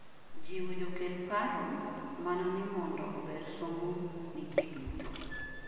jiwo jokel paro mana ne mondo ober somo ne ji duto